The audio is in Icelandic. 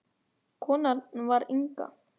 Konan var Inga.